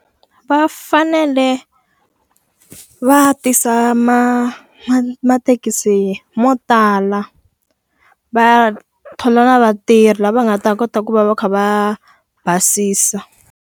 Va fanele va tisa ma mathekisi mo tala. Va thola na vatirhi lava nga ta kota ku va va kha va basisa.